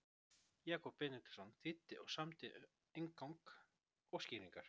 Jakob Benediktsson þýddi og samdi inngang og skýringar.